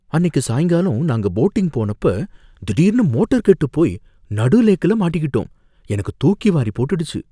அன்னிக்கு சாயங்காலம் நாங்க போட்டிங் போனப்ப திடீர்னு மோட்டர் கெட்டுப்போய் நடு லேக்ல மாட்டிக்கிட்டோம், எனக்கு தூக்கிவாரிப் போட்டுடுச்சு.